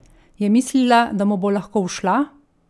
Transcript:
Je mislila, da mu bo lahko ušla?